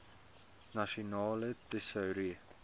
nasionale tesourie